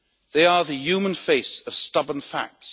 They are the human face of stubborn facts.